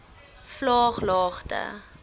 vlaaglagte